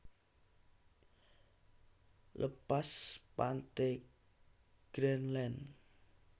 Lepas pante Greendland